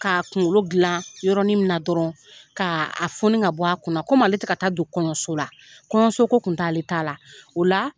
K'a kunkolo dilan yɔrɔnin min na dɔrɔn k'a a foni, ka bɔ a kun na. Komi ale tɛ ka taa don kɔɲɔso la. Kɔɲɔso ko kun t'ale ta la. O la